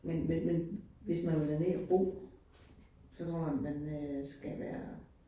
Men men men hvis man vil derned at bo, så kommer man øh skal være